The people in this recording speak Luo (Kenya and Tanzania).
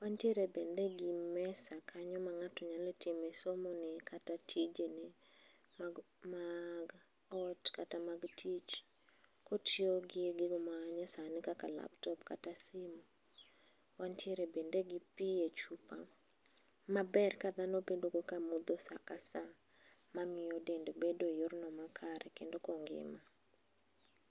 Wantiere bende gimesa kanyo mang'ato nyalo time somone kata tijene mag mag ot kata mag tich kotiyo gi gigo manyasani kaka laptop kata simu. Wantiere bende gi pi echupa maber kadhano bedo ka modho saka saa mamiyo dende bedo eyorno makare kendo kongima.